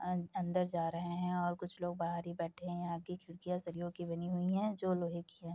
अंदर जा रहे है और कुछ लोग बाहर ही बैठे है यहाँ की खिड़कियाँ सरियों की बनी हुई है जो की लोहे की है।